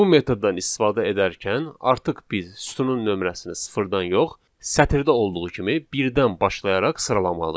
Bu metod rahat olduğundan cədvəl tərtib etmək üçün məhz bu metoddan istifadə edəcəyik.